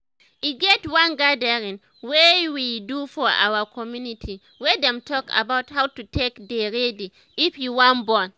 e get one gathering wey we do for our community wey dem talk about how to take dey ready if you wan born